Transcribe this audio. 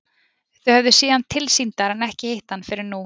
Þau höfðu séð hann tilsýndar en ekki hitt hann fyrr en nú.